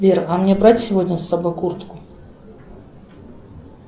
сбер а мне брать сегодня с собой куртку